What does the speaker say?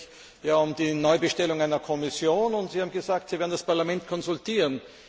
Es geht nämlich um die Neubestellung der Kommission. Sie haben gesagt, Sie werden das Parlament konsultieren.